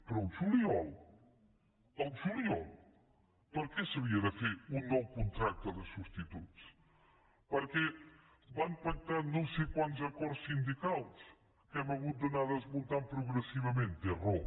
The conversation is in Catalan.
però el juliol el juliol per què s’havia de fer un nou contracte de subs tituts perquè van pactar no sé quants acords sindicals que hem hagut d’anar desmuntant progressivament té raó